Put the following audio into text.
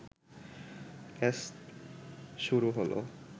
ব্যস শুরু হলো